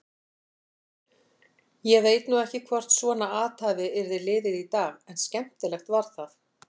Ég veit nú ekki hvort svona athæfi yrði liðið í dag en skemmtilegt var það.